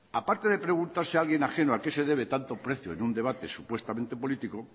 aparte de preguntarse alguien ajeno a qué se debe tanto precio en un debate supuestamente político